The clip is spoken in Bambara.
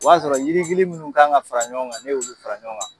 o y'a sɔrɔ yirigili minnu kan ka fara ɲɔgɔn kan ne y'olu fara ɲɔɔn kan.